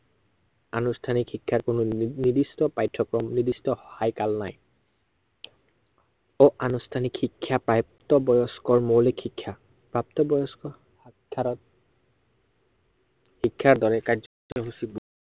আনুষ্ঠানিক শিক্ষাৰ কোনো নি~নিৰ্দিষ্ট পাঠ্য়ক্ৰম নিৰ্দিষ্ট নাই। সৱ আনুষ্ঠানিক শিক্ষাই প্ৰাপ্তবয়স্কৰ মৌলিক শিক্ষা। প্ৰাপ্তবয়স্ক শিক্ষাৰ দৰে কাৰ্যসূচী